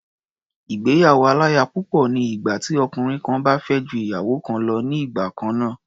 Ìgbéyàwó-aláya-púpọ̀ ni ìgbà tí ọkùnrin kan bá fẹ́ ju ìyàwó kan lọ ní igbà kan náà.